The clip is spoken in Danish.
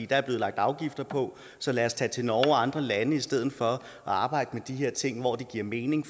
der er blevet lagt afgifter på så lad os tage til norge og andre lande i stedet for og arbejde med de her ting hvor det giver mening